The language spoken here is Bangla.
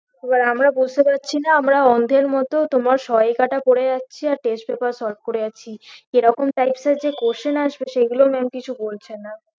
এবার আমরা বুঝতে পারছি না আমরা অন্ধের মত তোমার সহায়িকাটা পড়ে যাচ্ছি আর test paper solve করে যাচ্ছি কেরকম types এর যে question আসবে সেগুলো maam কিছু বলছে না